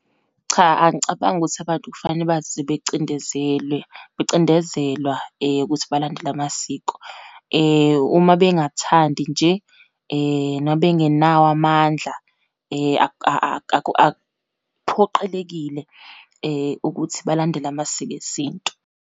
Cha, angicabangi ukuthi abantu kufanele baze becindezelwe, becindezelwa ukuthi balandele amasiko. Uma bengathanda nje, noma bengenawo amandla akuphoqelekile ukuthi balandele amasiko esintu.